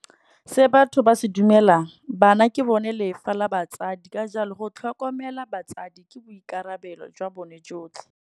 Se batho ba se dumelang, bana ke bone lefa la batsadi ka jalo go tlhokomela batsadi, ke boikarabelo jwa bone jotlhe.